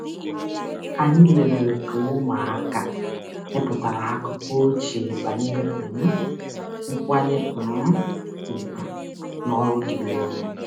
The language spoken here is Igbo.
Anyị lelere ka ụmụaka mepụtara akụkọ ochie banyere um nkwanye um ùgwù na ọrụ dịrị onye.